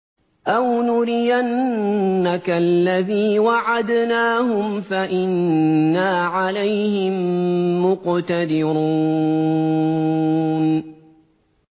أَوْ نُرِيَنَّكَ الَّذِي وَعَدْنَاهُمْ فَإِنَّا عَلَيْهِم مُّقْتَدِرُونَ